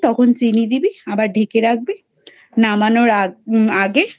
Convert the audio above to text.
তখন চিনি দিবি আবার ঢেকে রাখবে নামানোর আগ.. আগে